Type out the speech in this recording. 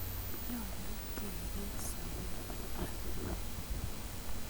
Nyolu kegeer sopet ap tai.